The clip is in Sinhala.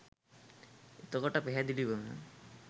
එතකොට පැහැදිලිවම